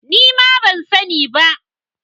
Nima ban sani ba